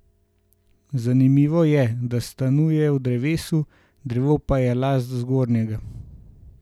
Zanimivo je, da stanuje v drevesu, drevo pa je last Zgornjega.